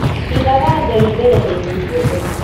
Igaga Ngai mbere hĩndĩ ciothe